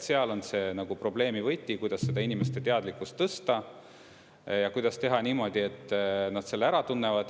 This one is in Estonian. Seal on see nagu probleemi võti, kuidas seda inimeste teadlikkust tõsta ja kuidas teha niimoodi, et nad selle ära tunnevad.